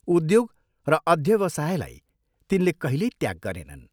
उद्योग र अध्यवसायलाई तिनले कहिल्यै त्याग गरेनन्।